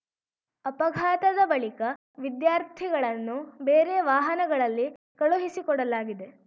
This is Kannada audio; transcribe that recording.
ಅಪಘಾತದ ಬಳಿಕ ವಿದ್ಯಾರ್ಥಿಗಳನ್ನು ಬೇರೆ ವಾಹನಗಳಲ್ಲಿ ಕಳುಹಿಸಿಕೊಡಲಾಗಿದೆ